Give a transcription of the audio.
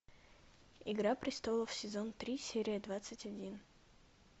игра престолов сезон три серия двадцать один